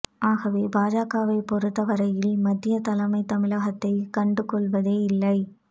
ஆகவே பாஜகவைப் பொறுத்த வரையில் மத்திய தலைமை தமிழகத்தை கண்டு கொள்வதே இல்லை